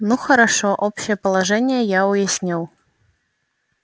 ну хорошо общее положение я уяснил